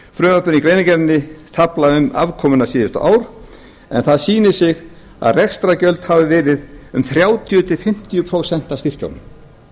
frumvarpinu eða greinargerðinni tafla um afkomuna síðasta ár en það sýnir sig að rekstrargjöld hafa verið um þrjátíu til fimmtíu prósent af styrkjunum